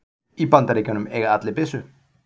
Í Bandaríkjunum eiga allir byssu.